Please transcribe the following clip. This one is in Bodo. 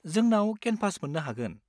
जोंनाव केनभास मोन्नो हागोन।